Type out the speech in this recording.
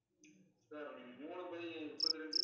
sir நீங்க மூணு by முப்பத்தி ரெண்டு